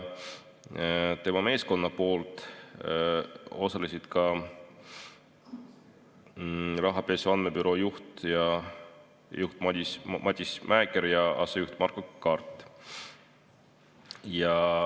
Tema meeskonnast osalesid ka Rahapesu Andmebüroo juht Matis Mäeker ja asejuht Markko Kard.